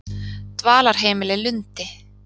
Dvalarheimili Lundi